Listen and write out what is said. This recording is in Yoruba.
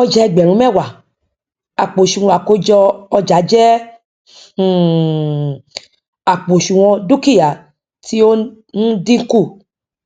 ọjà ẹgbẹrun mẹwàá àpò òsùnwọn àkójọ ọjà jẹ um àpò òsùnwọn dúkìá tí o n dínkù